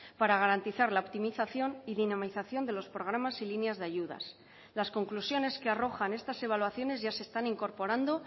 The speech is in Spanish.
para garantizar la optimización y dinamización de los programas y líneas de ayudas las conclusiones que arrojan estas evaluaciones ya se están incorporando